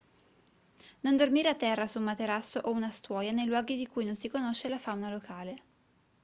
non dormire a terra su un materasso o una stuoia nei luoghi di cui non si conosce la fauna locale